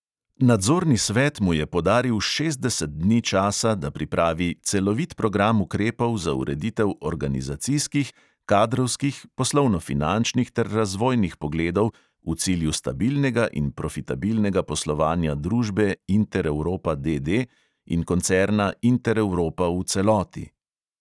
Nadzorni svet mu je podaril šestdeset dni časa, da pripravi "celovit program ukrepov za ureditev organizacijskih, kadrovskih, poslovno-finančnih ter razvojnih pogledov v cilju stabilnega in profitabilnega poslovanja družbe intereuropa, D D, in koncerna intereuropa v celoti".